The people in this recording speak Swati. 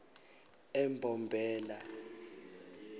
embombela